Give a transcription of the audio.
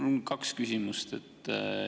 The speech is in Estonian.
Mul on kaks küsimust.